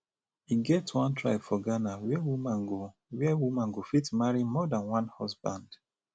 e get one tribe for ghana where woman go where woman go fit marry more dan one husband